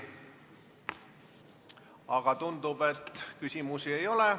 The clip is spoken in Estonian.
Aga tundub, et küsimusi ei ole.